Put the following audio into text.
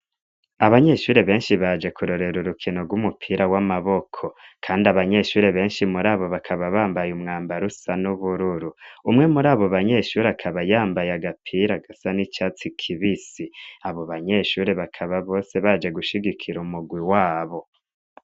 Abanyeshure benshi baje kurorera urukino rw'umupira w'amaboko. Kandi abanyeshure benshi muri abo bakaba bambaye umwambaro usa n'ubururu umwe muri abo banyeshuri akaba yambaye agapira gasan ichats kivis abo banyeshure bakaba bose baje gushigikira umugwi wabo.